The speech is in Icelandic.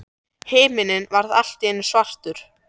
Himininn varð allt í einu svartur.